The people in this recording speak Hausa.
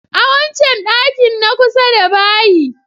A wancan ɗakin na kusa da bayi.